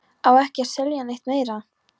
Á ekki að selja neitt meira?